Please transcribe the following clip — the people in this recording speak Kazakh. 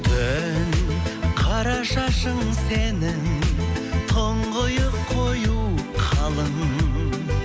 түн қара шашың сенің тұнғиық қою қалың